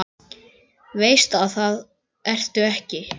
Veist að það ertu ekki.